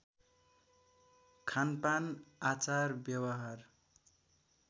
खानपान आचार व्यवहार